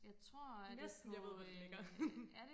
næsten jeg ved hvor det ligger